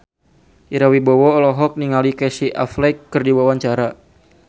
Ira Wibowo olohok ningali Casey Affleck keur diwawancara